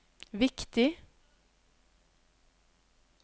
viktig